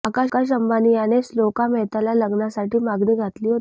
आकाश अंबानी यानेच श्लोका मेहताला लग्नासाठी मागणी घातली होती